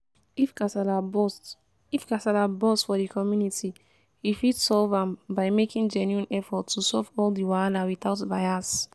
if kasala burst if kasala burst for di community we fit solve am by making genuine effort to solve all di wahala without bias